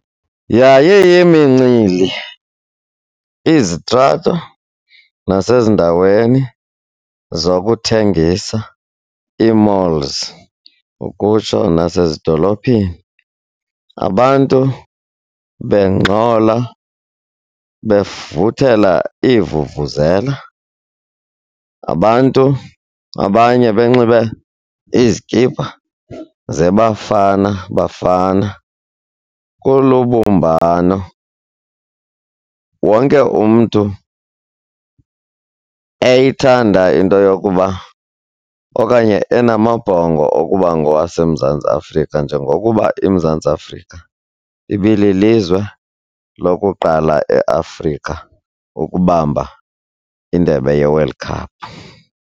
Yayiyimincili, izitrato nasezindaweni zokuthengisa, ii-malls ukutsho, nasezidolophini, abantu bengxola bevuthela iivuvuzela. Abantu abanye benxibe izikipa zeBafana Bafana, kulubumbano wonke umntu eyithanda into yokuba okanye enamabhongo okuba ngowaseMzantsi Afrika njengokuba iMzantsi Afrika ibililizwe lokuqala eAfrika ukubamba indebe ye-World Cup.